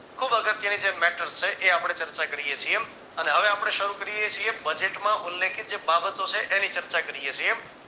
ખુબ અગત્યની જે mater છે એ આપણે ચર્ચા કરીએ છીએ અને હવે આપણે શરૂ કરીએ છીએ budget ઉલ્લેખે જે બાબતો છે એની ચર્ચા કરીએ છીએ